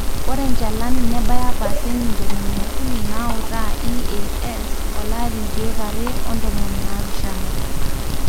ore enchalan nebaya paseenti tomon okuni nautaa EAS olari nkiek are o tomon naapishana